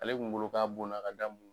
Ale kun bolo k'a bonna ka da mun